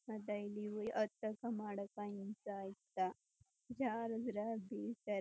ಮತ್ತೆ ಇಲ್ಲಿ ಹತ್ತಕ ಮಾಡಕ್ಕ ಹಿಂಸಾ ಆಯ್ತಾ ಜಾರುದ್ರೆ ಬೀಳ್ತಾರಾ--